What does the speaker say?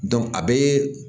a bɛ